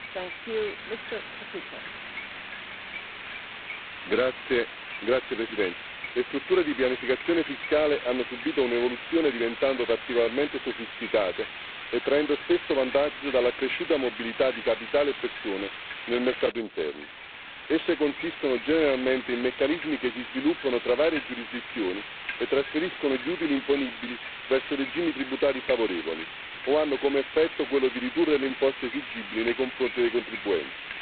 Signora Presidente, onorevoli colleghi, le strutture di pianificazione fiscale hanno subito un'evoluzione diventando particolarmente sofisticate e traendo spesso vantaggio dall'accresciuta mobilità di capitale e persone nel mercato interno. Esse consistono generalmente in meccanismi che si sviluppano tra varie giurisdizioni e trasferiscono gli utili imponibili verso regimi tributari favorevoli o hanno come effetto quello di ridurre le imposte esigibili nei confronti dei contribuenti.